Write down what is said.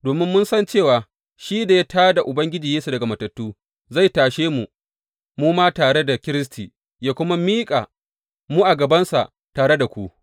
Domin mun san cewa shi da ya tā da Ubangiji Yesu daga matattu, zai tashe mu mu ma tare da Kiristi, yă kuma miƙa mu a gabansa tare da ku.